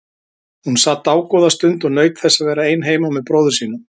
Hún sat dágóða stund og naut þess að vera ein heima með bróður sínum.